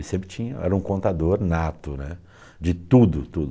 Ele sempre tinha, era um contador nato né, de tudo, tudo, tudo.